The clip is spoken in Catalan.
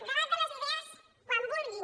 debat de les idees quan vulguin